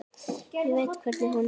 Ég veit hvernig honum líður.